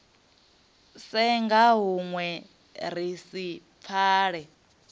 senga hunwe ri si pfale